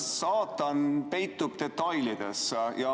Saatan peitub detailides.